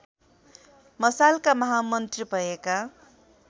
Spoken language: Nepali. मशालका महामन्त्री भएका